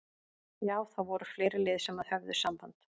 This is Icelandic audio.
Já það voru fleiri lið sem að höfðu samband.